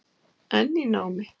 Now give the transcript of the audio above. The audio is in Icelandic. Enn í námi